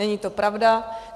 Není to pravda.